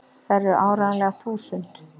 Þær eru áreiðanlega þúsund!!